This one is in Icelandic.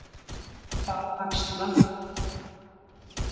Þá axla